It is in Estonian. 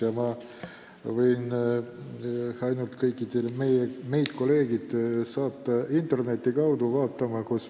Ja ma kutsun kõiki teid, kolleegid, üles internetti vaatama.